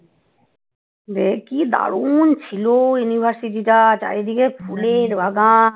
কি দারুণ ছিল ইউনিভার্সিটি টা চারিদিকে ফুলের বাগান